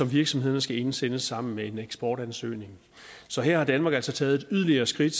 virksomhederne skal indsende sammen med en eksportansøgning så her har danmark altså taget et yderligere skridt